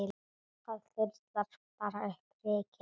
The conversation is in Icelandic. Það þyrlar bara upp ryki.